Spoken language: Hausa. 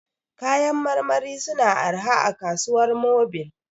Kayan marmari su na arha a kasuwar Mobil